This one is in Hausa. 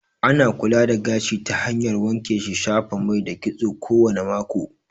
Ana kula da gashi ta hanyar wanke shi, shafa mai da kitso kowane mako